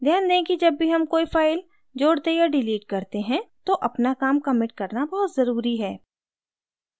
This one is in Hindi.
ध्यान दें कि जब भी हम कोई file जोड़ते या डिलीट करते हैं तो अपना काम commit करना बहुत ज़रूरी है